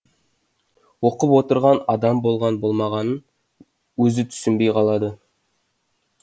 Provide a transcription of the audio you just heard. оқып отырған адам болған болмағанын өзі түсінбей қалады